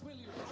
ég